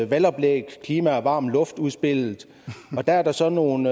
valgoplæg klima og varm luft udspillet og der er der så nogle